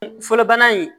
Fɔlɔ bana in